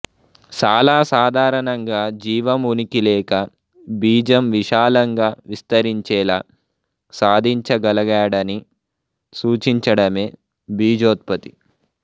చాలా సాధారణంగా జీవం ఉనికి లేక బీజం విశాలంగా విస్తరించేలా సాధించగలగడాన్ని సూచించడమే భీజోత్పత్తి